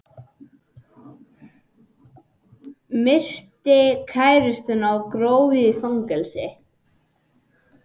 Myrti kærustuna og gróf í fangelsi